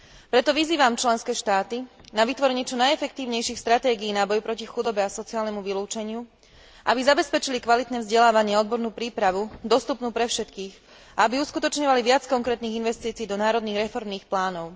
Preto vyzývam členské štáty na vytvorenie čo najefektívnejších stratégií na boj proti chudobe a sociálnemu vylúčeniu, aby zabezpečili kvalitné vzdelávanie a odbornú prípravu dostupnú pre všetkých a aby uskutočňovali viac konkrétnych investícií do národných reformných plánov.